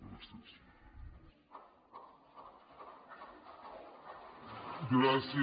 gràcies